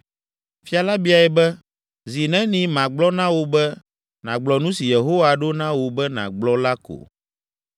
Fia la biae be, “Zi neni magblɔ na wò be nàgblɔ nu si Yehowa ɖo na wò be nàgblɔ la ko?”